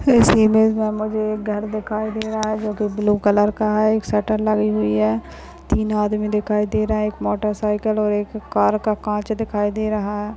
इस इमेज मे मुझे एक घर दिखाई दे रहा है जो की एक ब्लू कलर का है एक शटर लगी हुई है तीन आदमी दिखाई दे रहे है एक मोटर सायकल और एक कार का काँच दिखाई दे रहा।